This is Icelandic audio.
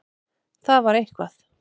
Það var eitthvað.